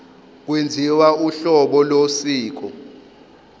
kwenziwa uhlolo losiko